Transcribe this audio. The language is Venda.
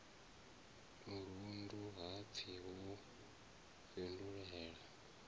murundu ha pfi wo fhindulela